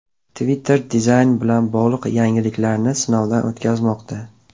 Twitter dizayn bilan bog‘liq yangiliklarni sinovdan o‘tkazmoqda.